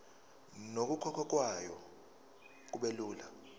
nokukhokhwa kwayo kubelula